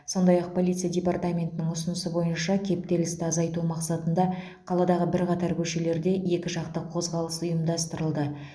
сондай ақ полиция департаментінің ұсынысы бойынша кептелісті азайту мақсатында қаладағы бірқатар көшелерде екіжақты қозғалыс ұйымдастырылды